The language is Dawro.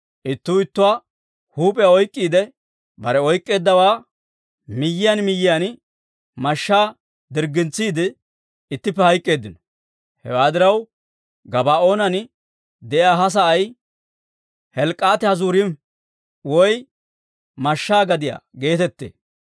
Ittuu ittuwaa huup'iyaa oyk'k'iide, bare oyk'k'eeddawaa miyiyaan miyiyaan mashshaa dirggintsiide, ittippe hayk'k'eeddino; hewaa diraw, Gabaa'oonan de'iyaa he sa'ay Helkkat-Hazurim (Mashshaa Gadiyaa) geetettee.